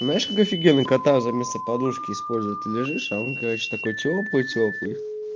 знаешь как офигенно кота заместо подушки используют лежишь а он короче такой тёплый тёплый